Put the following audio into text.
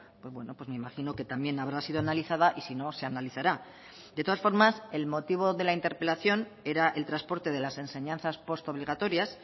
pues bueno pues me imagino que también habrá sido analizada y si no se analizará de todas formas el motivo de la interpelación era el transporte de las enseñanzas postobligatorias